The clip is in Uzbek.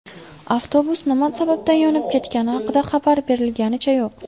Avtobus nima sababdan yonib ketgani haqida xabar berilganicha yo‘q.